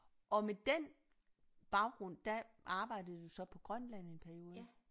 Og med den baggrund der arbejdede du så på Grønland en periode